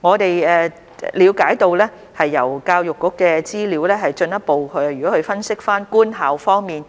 我們了解到，根據教育局的資料，如果分析官校方面